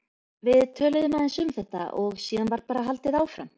Við töluðum aðeins um þetta og síðan var bara haldið áfram.